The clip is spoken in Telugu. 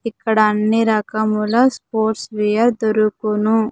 ఇక్కడ అన్ని రకముల స్పోర్ట్స్ వేర్ దొరుకును.